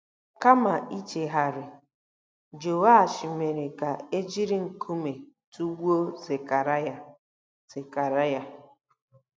Kama ichegharị, Jehoashi mere ka e jiri nkume tụgbuo Zekaraya. Zekaraya.